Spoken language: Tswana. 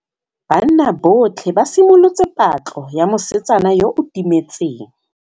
Banna botlhê ba simolotse patlô ya mosetsana yo o timetseng.